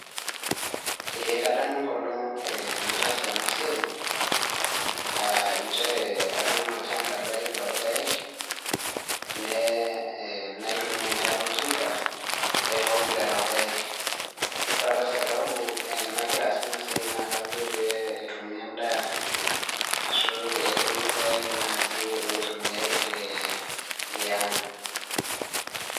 Eeh kadamu enkolong' nataasa ena siai, ah nchere atuuno olshamba lai loorpaek nee ehm naitumia enkare oltinka aitook lelo paek. Wore apa sababu eh nakira aasie ina siai naa kajo pee etumi endaa ashu pee etumi irpaek oitumiyai naaje eh tiang.